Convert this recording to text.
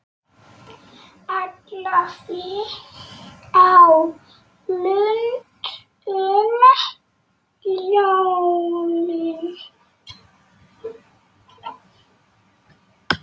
Ætlaði á Lund um jólin.